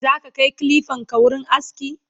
zaka Kai kilifanka wurin aski?